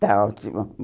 Está ótimo.